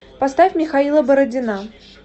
поставь михаила бородина